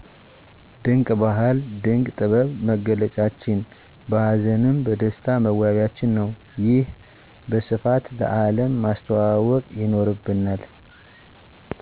ድንቆ ባህል ድንቅ ጥበብ መገለጫችን በሀዘንም በደስታ መዋቢያችን ነው። ይህን በስፋት ለአለም ማሰተዋዋውቅ ይኖርበናል።